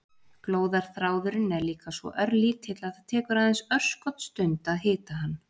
Glóðarþráðurinn er líka svo örlítill að það tekur aðeins örskotsstund að hita hann.